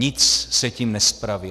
Nic se tím nespraví.